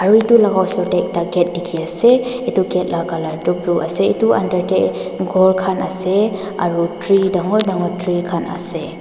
aru edu laka osor tae gate dikhiase edu gate la colour toh blue ase edu under tae khor khan ase aro tree dangor dangor tree khan ase.